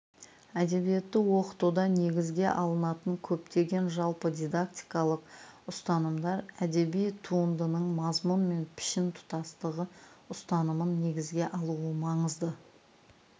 әдебиетті оқытуда негізге алынатын көптеген жалпы дидактикалық ұстанымдар әдеби туындының мазмұн мен пішін тұтастығы ұстанымын негізге алуы маңызды